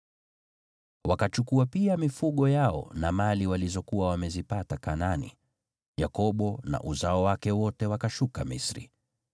Wakachukua pia mifugo yao na mali walizokuwa wamezipata Kanaani, Yakobo na uzao wake wote wakashuka Misri.